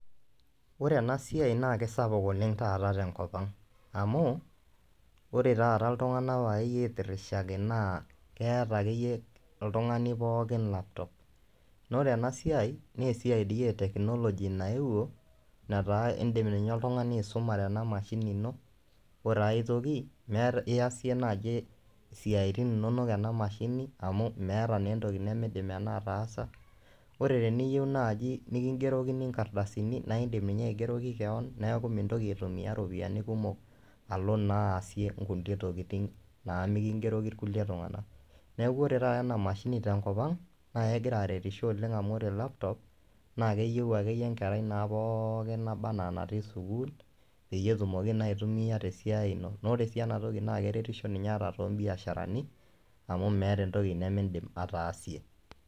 Ore ena siai naake sapuk oleng' taata te nkop ang' amu ore taata iltung'anak wuayie aitirishaki naa keeta ake yie oltung'ani pookin laptop, naa ore ena siai nee esiai dii e teknoloji nayeuwo netaa iindim ninye oltung'ani aisumare ena mashini ino. Ore ai toki meeta easie naaji isiaitin inonok ena mashini amu meeta naa entoki nemiidim ena ataasa. Ore teniyeu naaji neking'erokini nkardasini naa indim ninye aigeroki keon neeku mintoki aitumia ropiani kumok alo naa aasie nkulie tokitin naa meking'eroki irkulie tung'anak. Neeku kore taata ena mashini tenkop ang' nae egira aretisho oleng' amu ore laptop naake eyeu akeyie enkerai naa pookin nabaa naa natii sukuul peyie etumoki naa aitumia te siai ino. Naa ore sii enatoki naake eretisho too mbiasharani amu meeta entoki nemiindim ataasie.